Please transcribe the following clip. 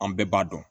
An bɛɛ b'a dɔn